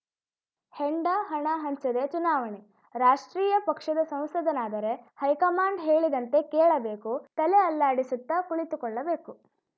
ಹೆಂಡ ಹಣ ಹಂಚದೆ ಚುನಾವಣೆ ರಾಷ್ಟ್ರೀಯ ಪಕ್ಷದ ಸಂಸದನಾದರೆ ಹೈಕಮಾಂಡ್‌ ಹೇಳಿದಂತೆ ಕೇಳಬೇಕು ತಲೆ ಅಲ್ಲಾಡಿಸುತ್ತಾ ಕುಳಿತುಕೊಳ್ಳಬೇಕು